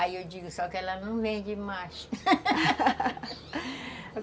Aí eu digo, só que ela não vende mais